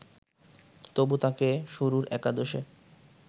তবু তাকে শুরুর একাদশে